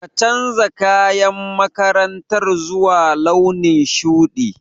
Ka canja kayan makarantar zuwa launin shuɗi.